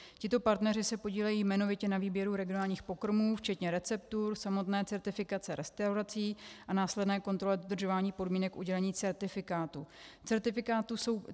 Tito partneři se podílejí jmenovitě na výběru regionálních pokrmů, včetně receptur, samotné certifikace restaurací a následné kontroly dodržování podmínek udělení certifikátů.